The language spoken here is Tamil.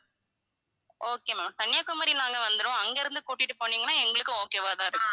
okay ma'am கன்னியாகுமரி நாங்க வந்திடுவோம் அங்கிருந்து கூட்டிட்டு போனீங்கன்னா எங்களுக்கும் okay வா தான் இருக்கும்